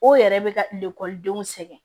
O yɛrɛ bɛ ka denw sɛgɛn